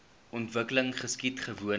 ontwikkeling geskied gewoonlik